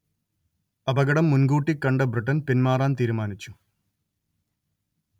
അപകടം മുൻകൂട്ടി കണ്ട ബ്രിട്ടൻ പിന്മാറാൻ തീരുമാനിച്ചു